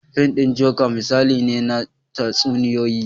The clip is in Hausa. Fim ɗin joker misali ne na tatsuniyoyi